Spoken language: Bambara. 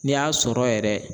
N'i y'a sɔrɔ yɛrɛ